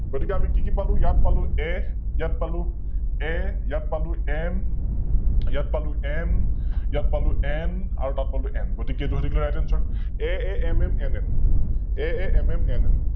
গতিকে আমি কি কি পালো, ইয়াত পালো A ইয়াত পালো A ইয়াত পালো M ইয়াত পালো M ইয়াত পালো N আৰু তাত পালো M গতিকে ইতো হৈ থাকিলে RightAnswer, AAMMNMAAMMNM ।